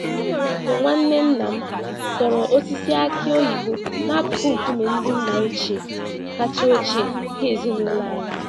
Onwere mgbe nwanne nnam dọrọ osisi aki oyibo n'akụkụ nkume ndị nna ochie kacha ochie nke ezinụlọ anyị.